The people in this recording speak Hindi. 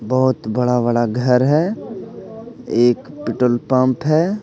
बहुत बड़ा बड़ा घर है एक पेट्रोल पंप है.